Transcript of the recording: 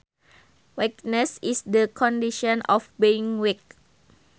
Weakness is the condition of being weak